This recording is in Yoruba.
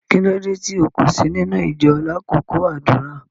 Kilódé tí o kò sí nínu ìjọ̀ lákọkọ àdúrà?